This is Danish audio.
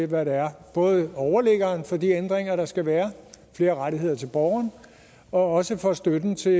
hvad det er både overliggeren for de ændringer der skal være flere rettigheder til borgerne og også for støtten til